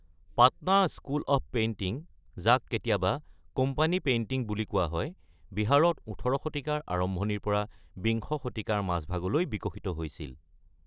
Patna school of painting, যাক কেতিয়াবা 'company painting' বুলি কোৱা হয়, বিহাৰত ১৮ শতিকাৰ আৰম্ভণিৰ পৰা বিংশ শতিকাৰ মাজভাগলৈ বিকশিত হৈছিল।